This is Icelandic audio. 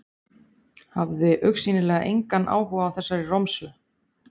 Hafði augsýnilega engan áhuga á þessari romsu.